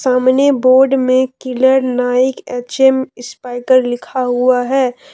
सामने बोर्ड में Killer Nike H M Spykar लिखा हुआ है।